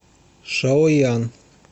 шаоян